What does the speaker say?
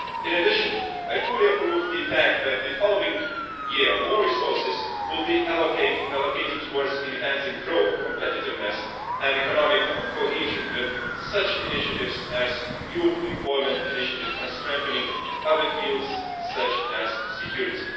In addition, I fully approve the fact that the following year, more resources will be allocated towards enhancing growth, competitiveness and economic cohesion, with initiatives such as the Youth Employment Initiative, and strengthening other fields such as security.